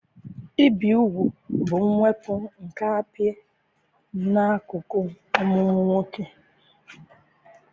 Ibi úgwù bụ mwepụ nke apị nke akụkụ ọmụmụ nwoke.